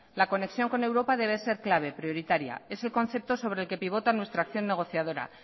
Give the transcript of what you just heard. la conexión con europa debe ser clave prioritaria es el concepto sobre el que pivota nuestra acción negociadora